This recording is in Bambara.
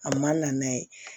A man na n'a ye